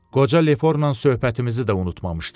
Qoca Leforla söhbətimizi də unutmamışdım.